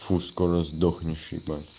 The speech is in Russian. фу скоро сдохнешь ебать